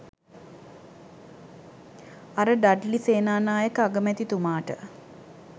අර ඩඩ්ලි සේනානායක අගමැතිතුමාට